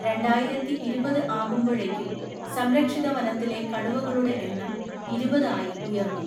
രണ്ടായിരത്തി ഇരുപത് ആകുമ്പോഴേക്കും സംരക്ഷിത വനത്തിലെ കടുവകളുടെ എണ്ണം ഇരുപത്‌ ആയി ഉയർന്നു.